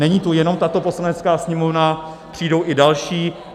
Není tu jenom tato Poslanecká sněmovna, přijdou i další.